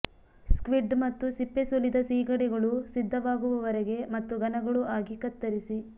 squid ಮತ್ತು ಸಿಪ್ಪೆ ಸುಲಿದ ಸೀಗಡಿಗಳು ಸಿದ್ಧವಾಗುವವರೆಗೆ ಮತ್ತು ಘನಗಳು ಆಗಿ ಕತ್ತರಿಸಿ